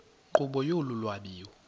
nkqubo yolu lwabiwo